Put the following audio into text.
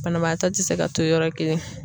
Banabaatɔ te se ka to yɔrɔ kelen